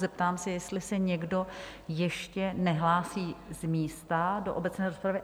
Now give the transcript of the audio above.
Zeptám se, jestli se někdo ještě nehlásí z místa do obecné rozpravy?